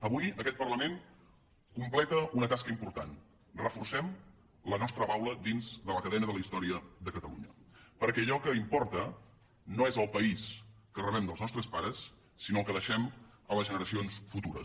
avui aquest parlament completa una tasca important reforcem la nostra baula dins de la cadena de la història de catalunya perquè allò que importa no és el país que rebem dels nostres pares sinó el que deixem a les generacions futures